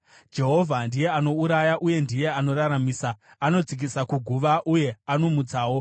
“Jehovha ndiye anouraya uye ndiye anoraramisa; anodzikisa kuguva uye anomutsawo.